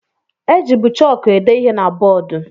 E jibu chọọku ede ihe na bọọdụ.